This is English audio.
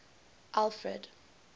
alfred